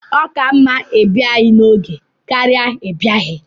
ọ ka mma ibia n'oge ka ọ ghara ibia